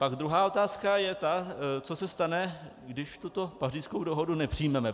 Pak druhá otázka je ta, co se stane, když tuto Pařížskou dohodu nepřijmeme.